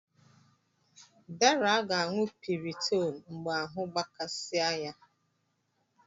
Deraa ga-aṅụ piriton mgbe ahụ gbakasị a ya.